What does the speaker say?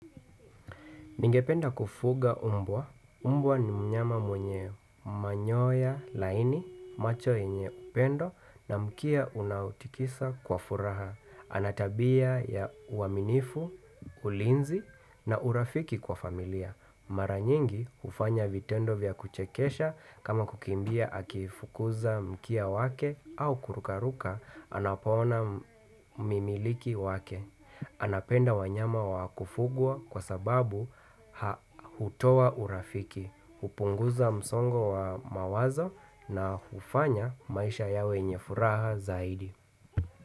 Ningependa kufuga mbwa. Mbwa ni mnyama mwenye manyoya laini, macho yenye upendo na mkia unautikisa kwa furaha. Anatabia ya uaminifu, ulinzi na urafiki kwa familia. Mara nyingi hufanya vitendo vya kuchekesha kama kukimbia akifukuza mkia wake au kurukaruka anapoona mimiliki wake. Anapenda wanyama wa kufugwa kwa sababu ha hutoa urafiki, hupunguza msongo wa mawazo na hufanya maisha yawe yenye furaha zaidi.